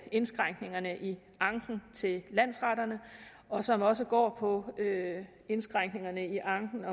indskrænkningerne i anken til landsretterne og som også går på indskrænkningerne i anken